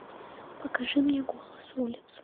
покажи мне голос улиц